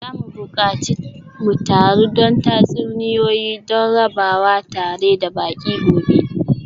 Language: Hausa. Za mu buƙaci mu taru don tatsuniyoyi don rabawa tare da baƙi gobe.